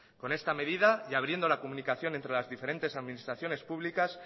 con esta medida y abriendo la comunicación entre las diferentes administraciones públicas